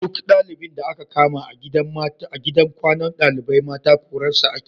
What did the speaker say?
Duk ɗalibin da aka kama a gidan kwanan ɗalibai mata korarsa ake